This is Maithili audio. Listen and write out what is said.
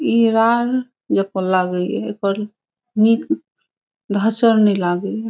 ई रान जेखोन लागी एकर निक धसल नै लागी।